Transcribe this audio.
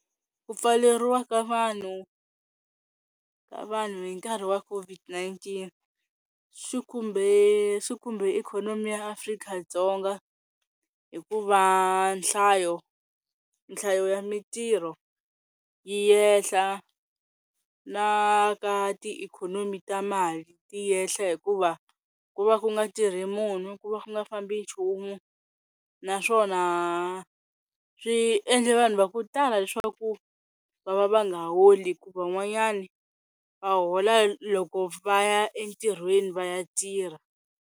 Ku pfaleriwa ka vanhu ka vanhu hi nkarhi wa COVID-19 swi khumbe swi kumbe ikhonomi ya Afrika-Dzonga hikuva nhlayo nhlayo ya mintirho yi yehla na ka ti ikhonomi ta mali ti yehla hikuva ku va ku nga tirhi munhu ku va ku nga fambi nchumu naswona swiendle vanhu va ku tala leswaku va va va nga holi hi ku van'wanyana va hola loko va ya entirhweni va ya tirha.